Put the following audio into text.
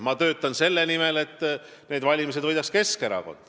Ma töötan selle nimel, et need valimised võidaks Keskerakond.